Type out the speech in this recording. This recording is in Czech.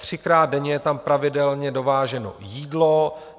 Třikrát denně je tam pravidelně dováženo jídlo.